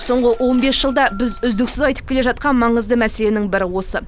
соңғы он бес жылда біз үздіксіз айтып келе жатқан маңызды мәселенің бірі осы